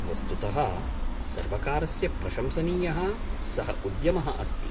वस्तुतः सर्वकारस्य प्रशंसनीयः सः उद्यमः अस्ति।